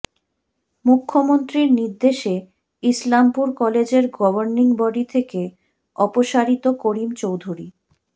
মুখ্যমন্ত্রীর নির্দেশে ইসলামপুর কলেজের গভর্নিং বডি থেকে অপসারিত করিম চৌধুরী